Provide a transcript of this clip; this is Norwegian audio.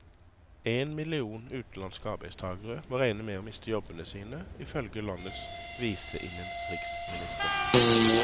En million utenlandske arbeidstagere må regne med å miste jobbene sine, ifølge landets viseinnenriksminister.